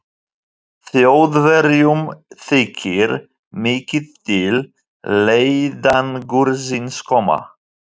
Þjóðverjum þykir mikið til leiðangursins koma.